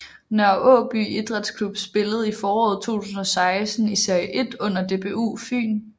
Nørre Aaby Idrætsklub spillede i foråret 2016 i Serie 1 under DBU Fyn